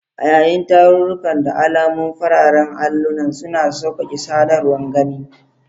A yayin tarurruka, da alamomi fararen allunan suna sauƙaƙe sadarwar gani.